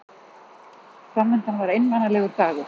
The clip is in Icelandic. Fram undan var einmanalegur dagur.